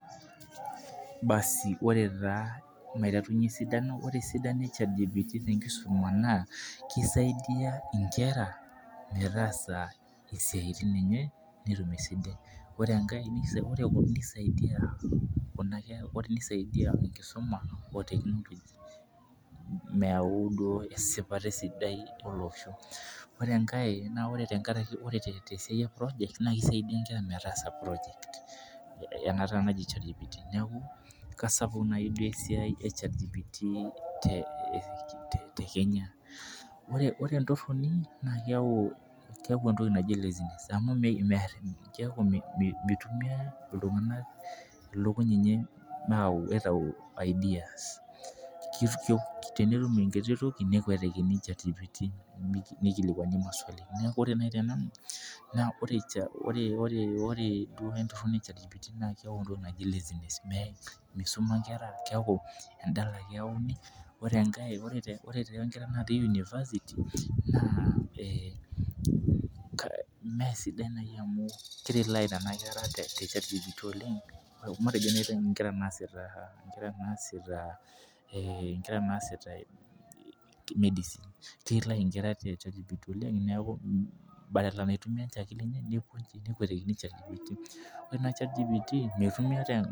Basi ore taa maiterunye esidano. ore esidano e Chatgpt naa nchere isaidia nkera metaasa isiatin enye, ore enkae nisaidia Kuna kera, o te isaidia enkisuma, meyau duo esipata sidai olosho. ore enkae naa ore tenkaraki esiai, e projects naa kisaidia nkera metaasa projects ena taa naji Chatgpt neeku kesapuk duo esiai, te Kenya. Ore entoroni naa keyau entoki naji lazy ness amu keeku mitumiya iltunganak ilukuny enye aitau, ideas tenetum enkiti toki nekuetiki chatgpt, nikilikiani maswali ore naaji tenanu ore duo chatgpt keeku misumata nkera edala ake, pee enkae kerai natii university naa sidan amu ki relay Nena kera, te Chatgpt oleng. matejo naaji nkera naasita medicine.